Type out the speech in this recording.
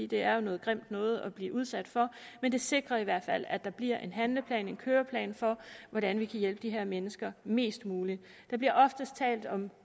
det er jo noget grimt noget at blive udsat for men det sikrer i hvert fald at der bliver en handleplan en køreplan for hvordan vi kan hjælpe de her mennesker mest muligt der bliver oftest talt om